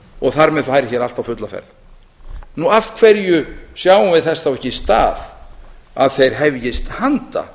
og þar með færi hér allt á fulla ferð af hverju sjáum við þess á ekki stað að þeir hefjist handa